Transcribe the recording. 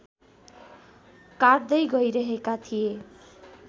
काट्दै गइरहेका थिए